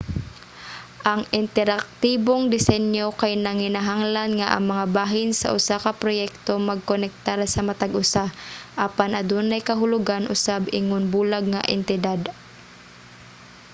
ang interaktibong desinyo kay nanginahanglan nga ang mga bahin sa usa ka proyekto magkonektar sa matag usa apan adunay kahulugan usab ingon bulag nga entidad